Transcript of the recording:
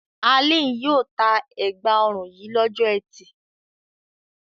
Alin yóò ta ẹ̀gbá-ọrùn yìí lọ́jọ́ ẹtì.